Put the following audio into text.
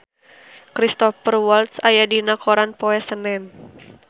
Cristhoper Waltz aya dina koran poe Senen